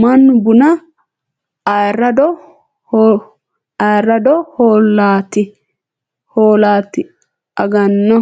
Mannu bunna araado hoo'late agano.